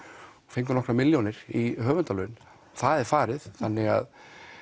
fengu nokkrar milljónir í höfundalaun það er farið þannig að